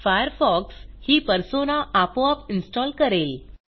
Firefox ही persona आपोआप install करेल